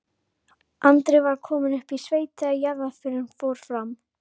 Andri var kominn upp í sveit þegar jarðarförin fór fram.